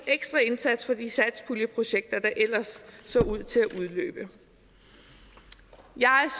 ekstra indsat for de satspuljeprojekter der ellers så ud til at udløbe jeg